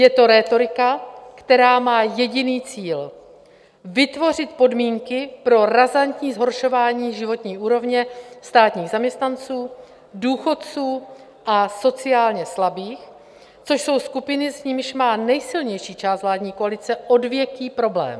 Je to rétorika, která má jediný cíl: vytvořit podmínky pro razantní zhoršování životní úrovně státních zaměstnanců, důchodců a sociálně slabých, což jsou skupiny, s nimiž má nejsilnější část vládní koalice odvěký problém.